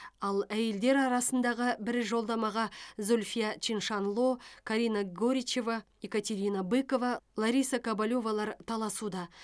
ал әйелдер арасындағы бір жолдамаға зульфия чиншанло карина горичева екатерина быкова лариса кобелевалар таласуда